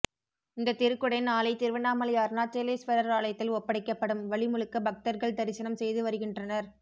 இந்த திருக்குடை நாளை திருவண்ணாமலை அருணாச்சலேஸ்வரர் ஆலயத்தில் ஒப்படைக்கப்படும் வழி முழுக்க பக்தர்கள் தரிசனம் செய்து வருகின்றனர்